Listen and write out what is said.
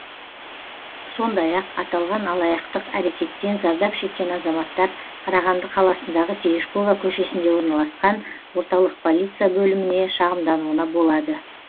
сондай ақ аталған алаяқтық әрекеттен зардап шеккен азаматтар қарағанды қаласындағы терешкова көшесінде орналасқан орталық полиция бөліміне шағымдануына болады